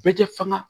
Bɛɛ tɛ fanga